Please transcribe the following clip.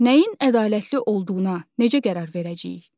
Nəyin ədalətli olduğuna necə qərar verəcəyik?